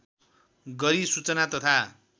गरी सूचना तथा